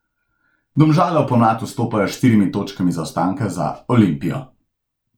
Domžale v pomlad vstopajo s štirimi točkami zaostanka za Olimpijo.